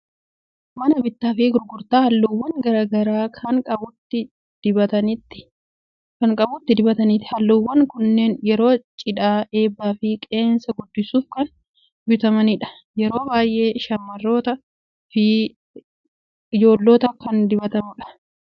Mana bittaa fi gurgurtaa halluuwwan garaa garaa kan qubatti dibataniiti. Halluuwwan kunneen yeroo cidhaa, eebbaa fi qeensa guddisuuf kan bitamanidha. Yeroo baay'ee shamarrootaa fi ijoollotaan kan dibatamudha. Akka faaya miidhaginaatti isaan gargaara.